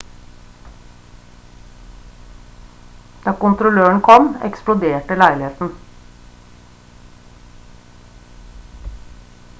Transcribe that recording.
da kontrolløren kom eksploderte leiligheten